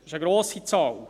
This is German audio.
Das ist eine grosse Zahl.